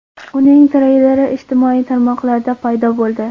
Uning treyleri ijtimoiy tarmoqlarda paydo bo‘ldi.